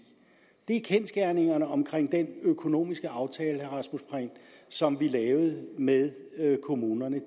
det er kendsgerningerne omkring den økonomiske aftale som vi lavede med kommunerne